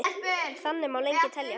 Þannig má lengi telja.